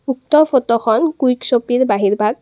উক্ত ফটোখন কুইক চপীৰ বাহিৰ ভাগ।